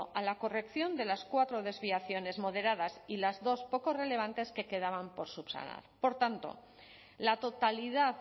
a la corrección de las cuatro desviaciones moderadas y las dos poco relevantes que quedaban por subsanar por tanto la totalidad